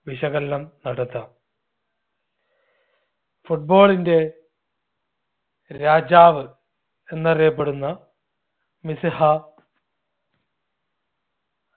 വിശകലനം നടത്താം. football ന്റെ രാജാവ് എന്നറിയപ്പെടുന്ന മെസ്സിഹ